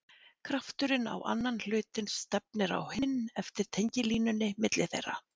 Krafturinn á annan hlutinn stefnir á hinn eftir tengilínunni milli þeirra.